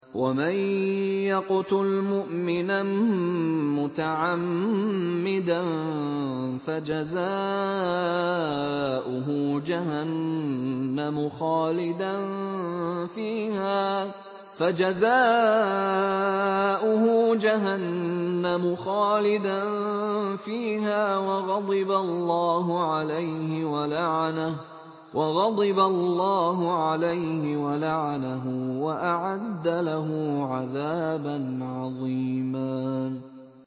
وَمَن يَقْتُلْ مُؤْمِنًا مُّتَعَمِّدًا فَجَزَاؤُهُ جَهَنَّمُ خَالِدًا فِيهَا وَغَضِبَ اللَّهُ عَلَيْهِ وَلَعَنَهُ وَأَعَدَّ لَهُ عَذَابًا عَظِيمًا